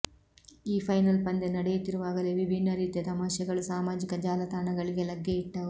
ಈ ಫೈನಲ್ ಪಂದ್ಯ ನಡೆಯುತ್ತಿರುವಾಗಲೇ ವಿಭಿನ್ನ ರೀತಿಯ ತಮಾಷೆಗಳು ಸಾಮಾಜಿಕ ಜಾಲತಾಣಗಳಿಗೆ ಲಗ್ಗೆಯಿಟ್ಟವು